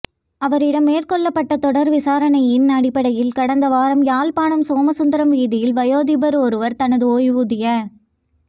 அவரிடம் மேற்கொள்ளப்பட்ட தொடர் விசாரணையின் அடிப்படையில் கடந்த வாரம் யாழ்ப்பாணம் சோமசுந்தரம் வீதியில் வயோதிபர் ஒருவர் தனது ஓய்வூதிய